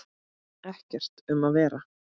Ekkert um að vera.